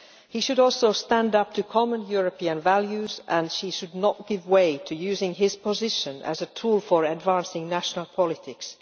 He should also stand up for common European values, and he should not give way to using his position as a tool for advancing national politics.